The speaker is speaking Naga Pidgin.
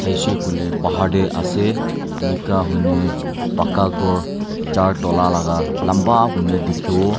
shey koile bahar te ase enika hoine paka ghor laga lamba kuine dikhi wo.